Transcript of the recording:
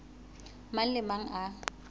mang le a mang a